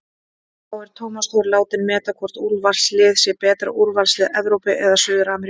Þá er Tómas Þór látinn meta hvort úrvalsliðið sé betra, úrvalslið Evrópu eða Suður-Ameríku?